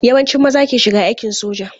Yawancin maza ke shiga aikin soja.